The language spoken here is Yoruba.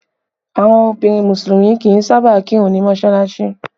Àwọn obìnrin musulumi kì í sáábà kirun ni mọsalasi